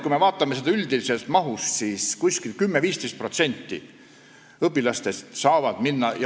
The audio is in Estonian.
Kui me vaatame üldist mahtu, siis 10–15% õpilastest saaksid minna.